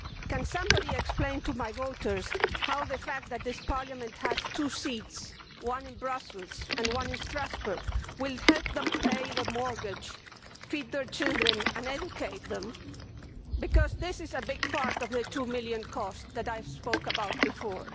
Can somebody explain to my voters how the fact that this Parliament has two seats, one in Brussels and one in Strasbourg, will help them pay the mortgage, feed their children and educate them, because this is a big part of the GBP 2 million cost that I spoke about before.